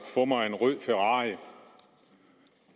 få mig en rød ferrari